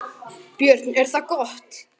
Björn: Er það gott?